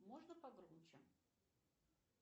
можно погромче